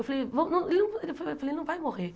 Eu falei, ele não vai morrer.